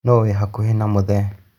Nũ wĩ hakuhĩ na mũthee